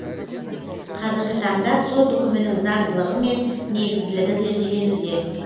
қазіргі таңда сот үкімінің заңдылығы мен негізділігі зерделенуде